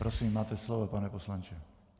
Prosím, máte slovo, pane poslanče.